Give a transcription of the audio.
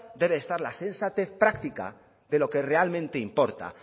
debe de estar la sensatez práctica de lo que realmente importa